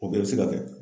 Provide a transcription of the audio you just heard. O bɛɛ bɛ se ka kɛ